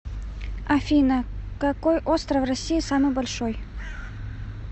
афина какой остров россии самый большой